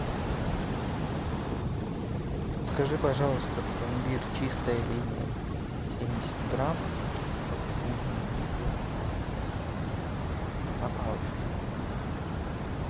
закажи пожалуйста пломбир чистая линия семьдесят грамм со вкусом земляники на палочке